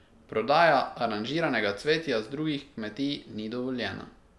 Prodaja aranžiranega cvetja z drugih kmetij ni dovoljena.